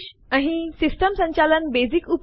આપણી હોમ ડિરેક્ટરીમાં સેમ્પલ3 નામવાળી ફાઈલ છે